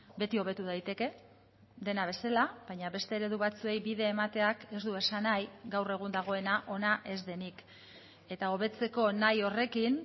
beti hobetu daiteke dena bezala baina beste eredu batzuei bide emateak ez du esan nahi gaur egun dagoena ona ez denik eta hobetzeko nahi horrekin